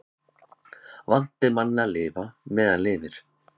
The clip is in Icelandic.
Vant er manni að lofa meðan lifir.